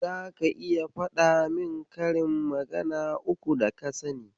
Zaka iya faɗa min karin magana uku daka sani.